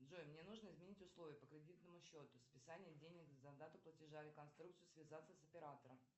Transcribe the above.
джой мне нужно изменить условия по кредитному счету списание денег за дату платежа реконструкцию связаться с оператором